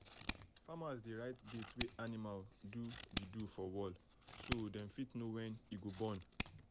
farmers dey write date wey animal do “the do” for wall so dem fit know when e go born.